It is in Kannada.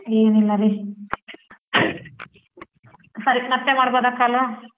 ಏನ್ ಇಲ್ಲರಿ ಸರಿ ಮತ್ತೆ ಮಾಡ್ಬೋದ call .